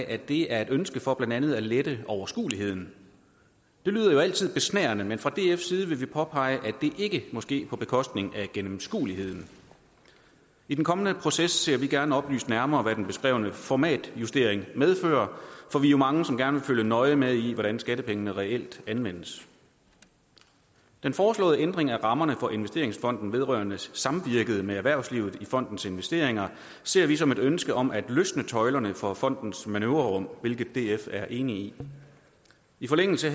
at det er et ønske for blandt andet at lette overskueligheden det lyder jo altid besnærende men fra dfs side vil vi påpege at det ikke må ske på bekostning af gennemskueligheden i den kommende proces ser vi gerne oplyst nærmere hvad den beskrevne formatjustering medfører for vi er mange som gerne vil følge nøje med i hvordan skattepengene reelt anvendes den foreslåede ændring af rammerne for investeringsfonden vedrørende samvirket med erhvervslivet i fondens investeringer ser vi som et ønske om at løsne tøjlerne for fondens manøvrerum hvilket df er enig i i forlængelse